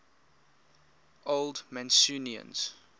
old mancunians